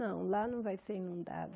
Não, lá não vai ser inundada.